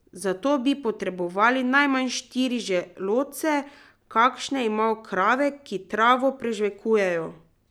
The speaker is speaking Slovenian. Za to bi potrebovali najmanj štiri želodce, kakršne imajo krave, ki travo prežvekujejo.